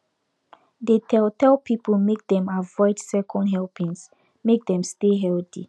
dey tell tell people make dem avoid second helpings make dem stay healthy